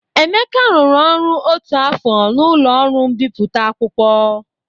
Emeka rụrụ ọrụ otu afọ n'ụlọ ọrụ mbipụta akwụkwọ.